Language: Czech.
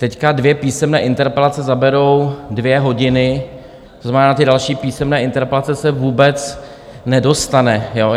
Teď dvě písemné interpelace zaberou dvě hodiny, to znamená, na ty další písemné interpelace se vůbec nedostane.